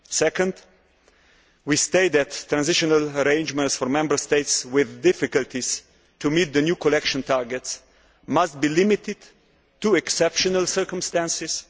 Secondly, we will state that transitional arrangements for Member States with difficulties meeting the new collection targets must be limited to exceptional circumstances.